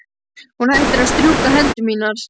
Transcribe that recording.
Hún hættir að strjúka hendur mínar.